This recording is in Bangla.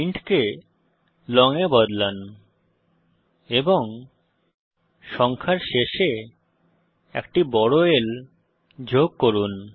ইন্ট কে লং এ বদলান এবং সংখ্যার শেষে একটি বড় L যোগ করুন